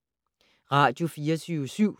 Radio24syv